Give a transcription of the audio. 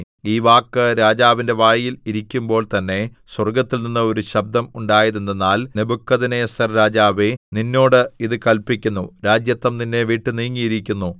ഈ വാക്ക് രാജാവിന്റെ വായിൽ ഇരിക്കുമ്പോൾ തന്നെ സ്വർഗ്ഗത്തിൽനിന്ന് ഒരു ശബ്ദം ഉണ്ടായതെന്തെന്നാൽ നെബൂഖദ്നേസർരാജാവേ നിന്നോട് ഇതു കല്പിക്കുന്നു രാജത്വം നിന്നെ വിട്ട് നീങ്ങിയിരിക്കുന്നു